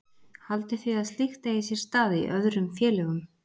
Haldið þið að slíkt eigi sér stað í öðrum félögum?